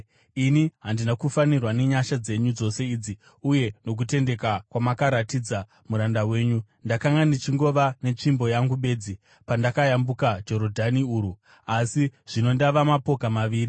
ini handina kufanirwa nenyasha dzenyu dzose idzi uye nokutendeka kwamakaratidza muranda wenyu. Ndakanga ndichingova netsvimbo yangu bedzi pandakayambuka Jorodhani urwu, asi zvino ndava mapoka maviri.